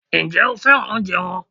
Ǹjẹ́ o féràn oúnjẹ wọn?